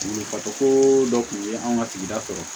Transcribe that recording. Fatɔ dɔ kun ye an ka sigida sɔrɔ